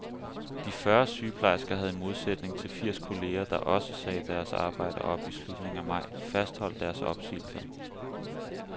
De fyrre sygeplejersker havde i modsætning til firs kolleger, der også sagde deres job op i slutningen af maj, fastholdt deres opsigelser.